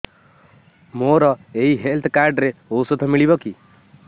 ମୋର ଏଇ health card ରେ ଔଷଧ ମିଳିବ କି